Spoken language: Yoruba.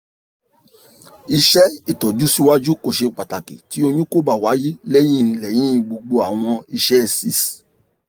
iṣẹ itọju siwaju ko ṣe pataki ti oyun ko ba waye lẹyin lẹyin gbogbo awọn isẹ six